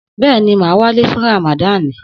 Bẹ́ẹ̀ni, màá wálé fún Ràmàdani.